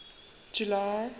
july